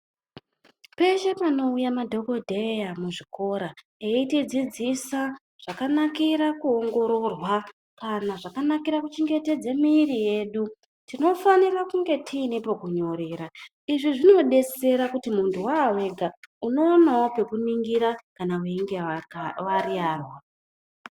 Peshe panouya madhokodheya muzvikoro eyitidzidzisa zvakanakira kuongororwa kana zvakanakira kuchengetedze miiri yedu, tinofanira kunge tine pokunyorera. Izvi zvinodetsera kuti muntu wawega, unoonawo pekuningira kana weinge wariyarwa.